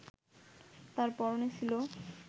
তার পরনে ছিল